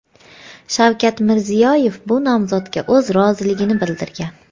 Shavkat Mirziyoyev bu nomzodga o‘z roziligini bildirgan.